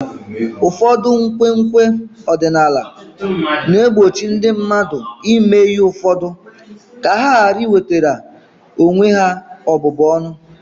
Ụfọdụ nkwenkwe ọdịnala na-egbochi ndị mmadụ ime ihe ụfọdụ ka ha ghara iwetara onwe ha ọbụbụ ọnụ.